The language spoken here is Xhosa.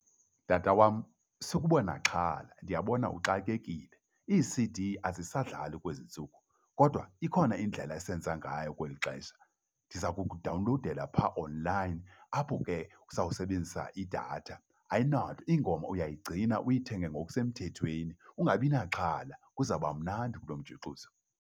Tata wam, sukuba naxhala ndiyabona uxakekile. IiC_D azisadlali kwezi ntsuku kodwa ikhona indlela esenza ngayo kweli xesha. Ndiza kukudawunlowudela phaa online apho ke siza kusebenzisa idatha ayina ingoma uyayigcina uyithenge ngokusemthethweni, ungabi naxhala kuzawuba mnandi kulomjuxuzo.